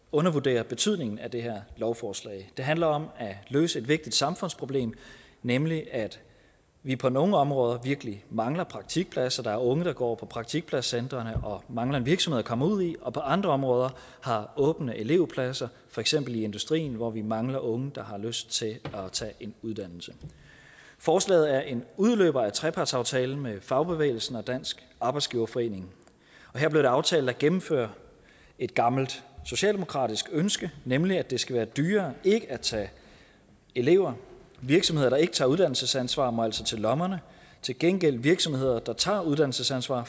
undervurdere betydningen af det her lovforslag det handler om at løse et vigtigt samfundsproblem nemlig at vi på nogle områder virkelig mangler praktikpladser der er unge der går på praktikpladscentrene og mangler en virksomhed at komme ud i og på andre områder har åbne elevpladser for eksempel i industrien hvor vi mangler unge der har lyst til at tage en uddannelse forslaget er en udløber af trepartsaftalen med fagbevægelsen og dansk arbejdsgiverforening her blev det aftalt at gennemføre et gammelt socialdemokratisk ønske nemlig at det skal være dyrere ikke at tage elever virksomheder der ikke tager uddannelsesansvar må altså til lommerne til gengæld får virksomheder der tager uddannelsesansvar